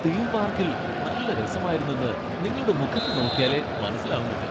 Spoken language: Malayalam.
തീം പാർക്കിൽ നല്ല രസമായിരുന്നെന്ന് നിങ്ങളുടെ മുഖത്ത് നോക്ക്യാലേ മനസ്സിലാവുന്നുണ്ട്.